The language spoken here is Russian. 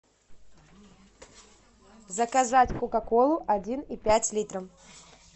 заказать кока колу один и пять литра